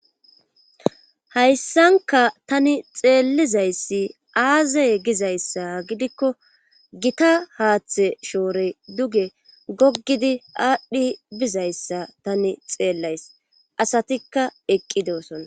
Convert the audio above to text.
Hayssanka tani xeellizayssi aazey gizayssa gidikko gita haaththe shoore duge goggidi aadhdhi bizayssa tani xeellays asatikka eqqidosoa.